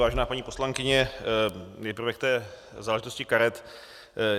Vážená paní poslankyně, nejprve k té záležitosti karet.